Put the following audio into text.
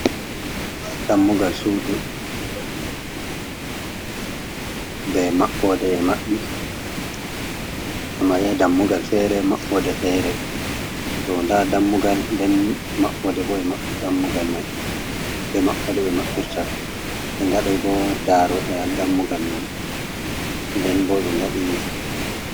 Dammugal suudu, be maɓɓoode ɓe maɓɓi, nda dammugal feere, maɓɓoode feere, toh nda dammugal, nden maɓɓoode bo e maɓɓi dammugal may, be maɓɓoode ɓe maɓɓirta, ɓe ngaɗi bo daaroode haa dammugal may, nden bo ɓe ngaɗi.